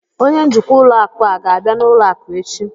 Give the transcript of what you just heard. Onye njikwa ụlọ akụ a ga-abịa n'ụlọ akụ echi?